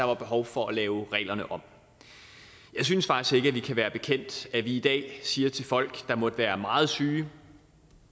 var behov for at lave reglerne om jeg synes faktisk ikke at vi kan være bekendt at vi i dag siger til folk der måtte være meget syge